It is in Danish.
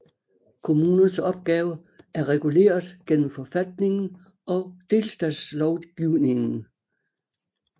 Kommunernes opgave er reguleret gennem forfatningen og delstatslovgivningen